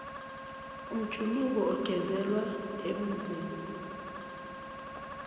umjuluko ogeleza ebunzini